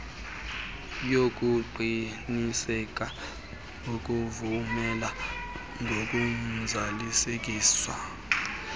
yokuqinisekisa ukuvumelana ngokuzalisekiswa